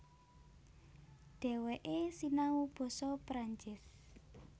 Dhèwèké sinau basa Perancis